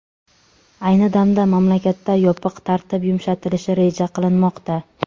Ayni damda mamlakatda yopiq tartib yumshatilishi reja qilinmoqda.